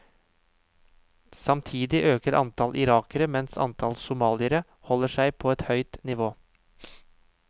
Samtidig øker antall irakere, mens antall somaliere holder seg på et høyt nivå.